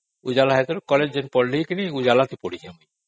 light ଆସିବାରୁ college time ରେ ଉଜାଲା ରେ ପଢ଼ିଲି